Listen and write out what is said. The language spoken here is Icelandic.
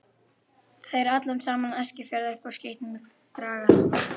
Þeir allan saman Eskifjörð upp úr skítnum draga.